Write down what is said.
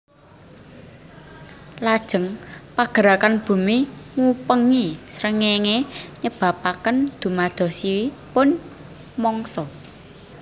Lajeng pagerakan bumi ngupengi srengéngé nyebabaken dumadosipun mungsa